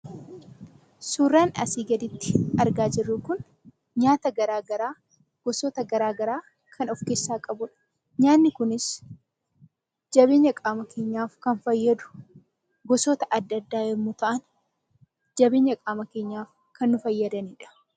Suuraan asii gaditti argaa jirru kun; nyaata garagaraa gosoota garagaraa kan of keessaa qabudha. Nyaanni kunis jabeenya qaama keenyaaf kan fayyadu gosoota adda addaa yommuu ta'an, jabeenya qaama keenyaaf kan nu fayyadanidha.